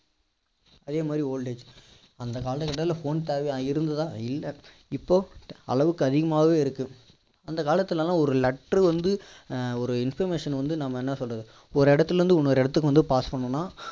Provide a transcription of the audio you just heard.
அதே மாதிரி old age அந்த காலத்துல phone தேவையா இருந்துச்சா இல்லை இப்போ அளவுக்கு அதிகமாவே இருக்கு அந்த காலத்துலலாம் ஒரு letter வந்து அஹ் ஒரு information ன வந்து நம்ம என்ன சொல்றது ஒரு இடத்துல இருந்து இன்னொரு இடத்துக்கு வந்து pass பண்ணனும்னா